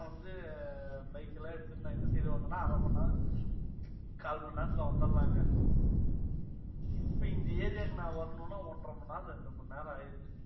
அப்ப வந்து bike எல்லாம் எடுத்துட்டு நான் இந்த side வந்தேன்னா அரை மணி நேரம், கால் மணி நேரத்துல வந்திடலாங்க. இப்ப இந்த area க்கு நான் வரணும்னா ஒன்றை மணி நேரம், ரெண்டு மணி நேரம் ஆயிடுது.